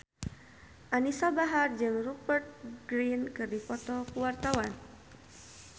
Anisa Bahar jeung Rupert Grin keur dipoto ku wartawan